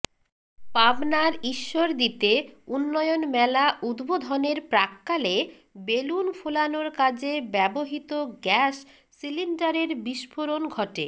পাবনার ঈশ্বরদীতে উন্নয়ন মেলা উদ্বোধনের প্রাক্কালে বেলুন ফোলানোর কাজে ব্যবহৃত গ্যাস সিলিন্ডারের বিস্ফোরণ ঘটে